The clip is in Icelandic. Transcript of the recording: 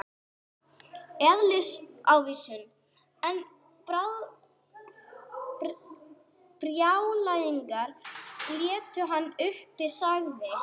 Eðlisávísun: einn brjálæðingur leitar annan uppi, sagði